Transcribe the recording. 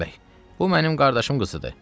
Süleyman bəy, bu mənim qardaşım qızıdır.